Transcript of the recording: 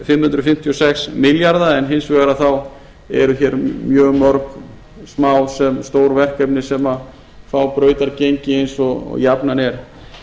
fimm hundruð fimmtíu og sex milljarðar en hins vegar eru hér mjög mörg mál eða stór verkefni sem frá brautargengi eins og jafnan er